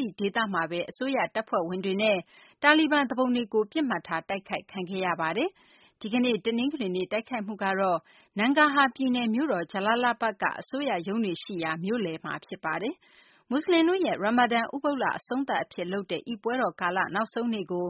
ဒီ ဒေသမှာဘဲ အစိုးရ တပ်ဖွဲ့ဝင်တွေနဲ့ တာလီဘန် သူပုန်တွေကို ပစ်မှတ်ထား တိုက်ခိုက်ခံခဲ့ရပါတယ်။ ဒီကနေ့ တနင်္ဂနွေနေ့ တိုက်ခိုက်မှု ကတော့ နန်ဂါဟာ ပြည်နယ် မြို့တော် ဂျလာလာဘတ်က အစိုးရ ရုံးတွေရှိရာ မြို့လယ်မှာ ဖြစ်ပါတယ်။ မူစလင်တို့ရဲ့ ရာမာဒန် ဥပုသ်လ အဆုံးသတ် အဖြစ် လုပ်တဲ့ အိဒ်ပွဲတော်ကာလ နောက်ဆုံးနေ့ကို